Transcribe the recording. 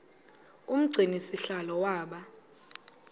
umgcini sihlalo waba